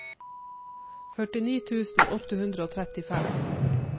førtini tusen åtte hundre og trettifem